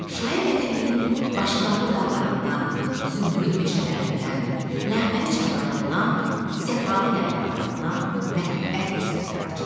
Şair vətəninin başı qarlı dağlarından, zümrüd meşələrindən, nəğməli çaylarından, səfalı yaylaqlarından məhəbbətlə söhbət açır.